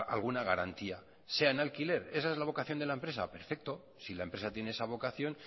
alguna garantía sea en alquiler esa es la vocación de la empresa perfecto si la empresa tiene esa vocación